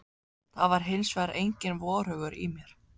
Það var hins vegar enginn vorhugur í mér.